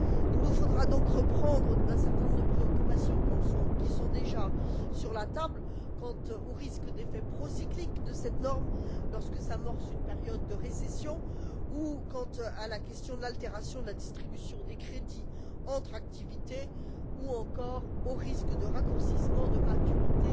Il nous faudra donc reprendre un certain nombre de préoccupations qui sont déjà sur la table quant aux risques d'effets procycliques de cette norme lorsque s'amorce une période de récession ou quant à la question de l'altération de la distribution des crédits entre activités, ou encore au risque de raccourcissement de maturité